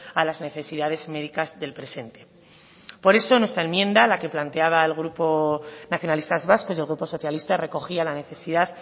a las necesidades médicas del presente por eso nuestra enmienda la que planteaba el grupo nacionalistas vascos y el grupo socialista recogía la necesidad